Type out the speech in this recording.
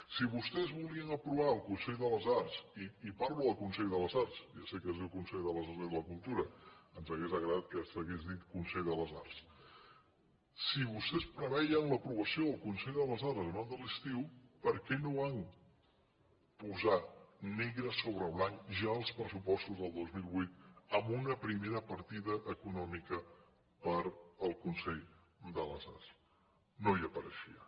si vostès volien aprovar el consell de les arts i parlo del consell de les arts ja sé que es diu consell de les arts i de la cultura ens hauria agradat que s’hagués dit consell de les arts si vostè preveien l’aprovació del consell de les arts abans de l’estiu per què no van posar negre so bre blanc ja als pressupostos del dos mil vuit una primera partida econòmica per al consell de les arts no hi apareixia